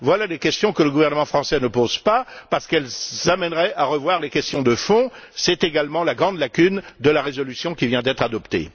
Voilà des questions que le gouvernement français ne pose pas, parce qu'elles amèneraient à revoir les questions de fond. C'est également la grande lacune de la résolution qui vient d'être adoptée.